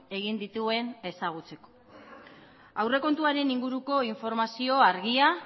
egin dituen ezagutzeko aurrekontuaren inguruko informazioa argia